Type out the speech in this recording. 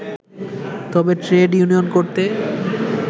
তবে trade union করতে